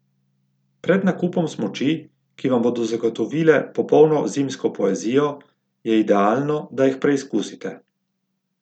Pred nakupom smuči, ki vam bodo zagotovile popolno zimsko poezijo, je idealno, da jih preizkusite.